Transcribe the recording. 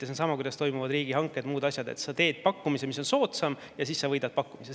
See on sama, kuidas toimuvad riigihanked, muud asjad: kui teed pakkumise, mis on soodsam, siis võidad pakkumise.